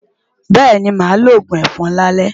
Bẹ́ẹ̀ni, màá lo òògùn ẹ̀fọn lálẹ́.